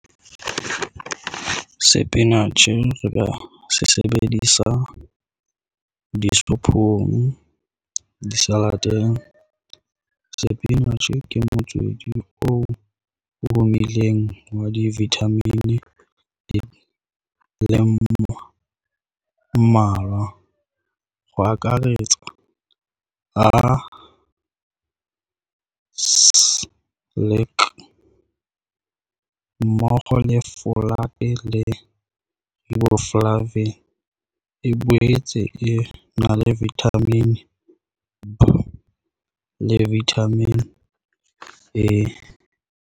Sepinatjhe, re ka se sebedisa disophong, di- salateng. Sepinatjhe ke motswedi oo omileng wa di vitamin le mmalwa ho akaretsa a mmoho le e le e boetse e na le vitamin B le vitamin E.